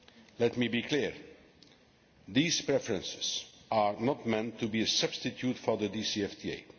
Let me be clear these preferences are not meant to be a substitute for the DCFTA.